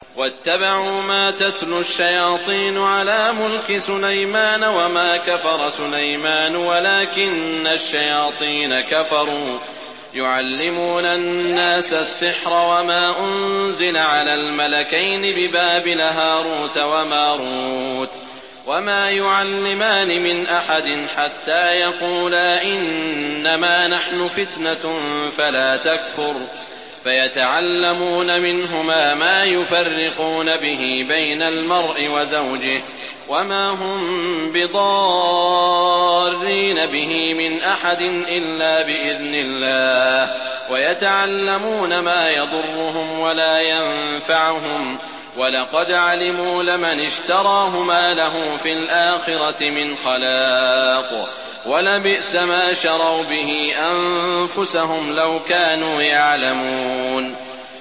وَاتَّبَعُوا مَا تَتْلُو الشَّيَاطِينُ عَلَىٰ مُلْكِ سُلَيْمَانَ ۖ وَمَا كَفَرَ سُلَيْمَانُ وَلَٰكِنَّ الشَّيَاطِينَ كَفَرُوا يُعَلِّمُونَ النَّاسَ السِّحْرَ وَمَا أُنزِلَ عَلَى الْمَلَكَيْنِ بِبَابِلَ هَارُوتَ وَمَارُوتَ ۚ وَمَا يُعَلِّمَانِ مِنْ أَحَدٍ حَتَّىٰ يَقُولَا إِنَّمَا نَحْنُ فِتْنَةٌ فَلَا تَكْفُرْ ۖ فَيَتَعَلَّمُونَ مِنْهُمَا مَا يُفَرِّقُونَ بِهِ بَيْنَ الْمَرْءِ وَزَوْجِهِ ۚ وَمَا هُم بِضَارِّينَ بِهِ مِنْ أَحَدٍ إِلَّا بِإِذْنِ اللَّهِ ۚ وَيَتَعَلَّمُونَ مَا يَضُرُّهُمْ وَلَا يَنفَعُهُمْ ۚ وَلَقَدْ عَلِمُوا لَمَنِ اشْتَرَاهُ مَا لَهُ فِي الْآخِرَةِ مِنْ خَلَاقٍ ۚ وَلَبِئْسَ مَا شَرَوْا بِهِ أَنفُسَهُمْ ۚ لَوْ كَانُوا يَعْلَمُونَ